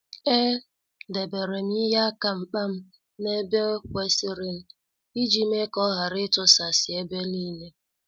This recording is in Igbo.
E deberem ihe aka mkpam n' ebe kwesịrịnụ, iji mee ka ọ ghara itusasi ebe niile.